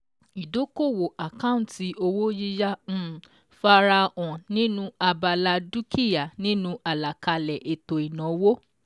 Ìdókòwò àkáǹtì owó yíyá um farahàn nínú abala dúkìá nínu àlàkalẹ̀ ètò ìnáwó.